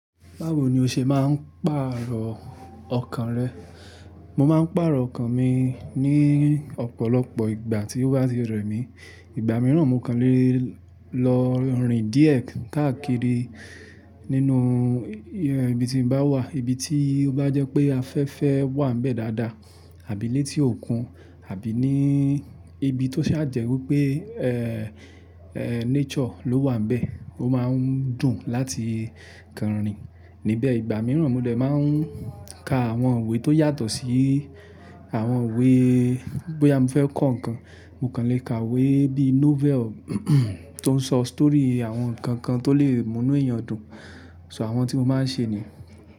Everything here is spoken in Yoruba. Báwo ni o ṣe máa ń pàrọ̀ ọkàn rẹ? Mo máa ń pàrọ̀ ọkàn mi ní ọ̀pọ̀lọpọ̀ ìgbà tí ó bá ti rẹ̀ mí. Ìgbà mìíràn, mo kàn le lọ rin díẹ̀ káàkiri nínú ibi tí mo bá wà, ibi tí ó bá jẹ́ pé afẹ́fẹ́ wà níbẹ̀ dáadáa àbí létí òkun, àbí ní ibi tó ṣa jẹ wipé nature ló wà níbẹ̀, ó máa ń dùn láti kanrin níbẹ̀. Ìgbà mìíràn, mo dẹ̀ máa ń ka àwọn iwe tó yàtọ̀ sí àwọn iwe bóyá mo fẹ́ kọ́ nǹkan, mo kàn le ka iwe bíi novel tó ń sọ story àwọn nǹkan kan tó lè mú inú èèyàn dùn. So àwọn tí mo máa ń ṣe nìyẹn.